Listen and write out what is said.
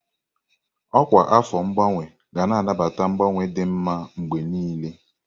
Ọkwa afọ ngbanwe ga na-anabata mgbanwe dị mma mgbe niile.